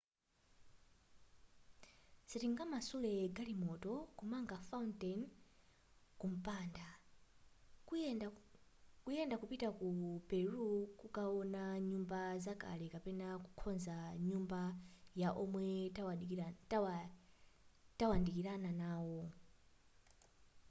sitingamasule galimoto kumanga fountain kumpanda kuyenda kupita ku peru kukaona nyumba zakale kapena kukonza nyumba ya omwe tawandikana nawo